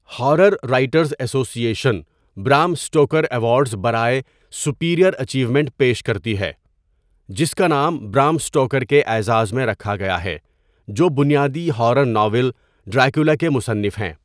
Horror writers association Bram Stoker awards برائے superior achievement پیش کرتی ہے، جس کا نام برام سٹوکر کے اعزاز میں رکھا گیا ہے، جو بنیادی ہارر ناول ڈریکولا کے مصنف ہیں۔